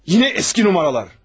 Yine eski numaralar.